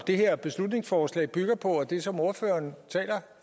det her beslutningsforslag bygger på og det som ordføreren taler